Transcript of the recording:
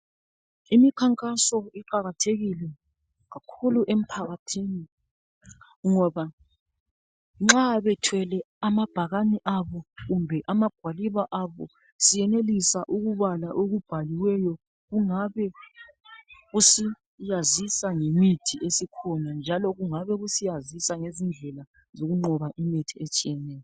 Imikhankaso iqakathekile kakhulu emphakathini ngoba nxa bethwele amabhakane abo kumbe amagwaliba abao siyenelisa ukubala okubhaliweyo okungabe usazisa ngemithi esikhona njalo kungabe kusazisa ngezindlela zokunqoba imikhuhlane etshiyeneyo